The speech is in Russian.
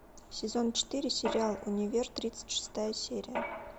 сезон четыре сериал универ тридцать шестая серия